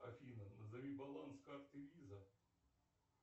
афина назови баланс карты виза